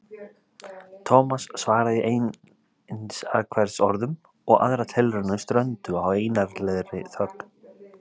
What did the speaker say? Thomas svaraði í einsatkvæðisorðum og aðrar tilraunir strönduðu á einarðlegri þögn.